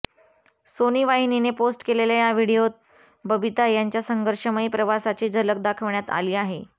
Sony वाहिनीने post केलेल्या या व्हिडीओत बबिता यांच्या संघर्षमयी प्रवासाची झलक दाखवण्यात आली आहे